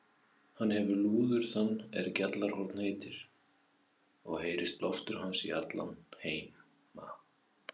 Hann hefir lúður þann er Gjallarhorn heitir, og heyrir blástur hans í alla heima.